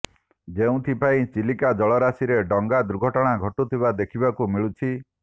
ଯେଉଁଥିପାଇଁ ଚିଲିକା ଜଳରାଶିରେ ଡଙ୍ଗା ଦୁର୍ଘଟଣା ଘଟୁଥିବା ଦେଖିବାକୁ ମିଳୁଛି